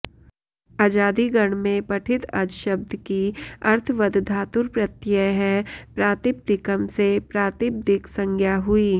अजादि गण में पठित अज शब्द की अर्थवदधातुरप्रत्ययः प्रातिपदिकम् से प्रातिपदिक संज्ञा हुई